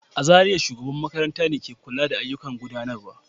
A Zariya, shugaban makarantar ne ke kula da ayyukan gudanarwa.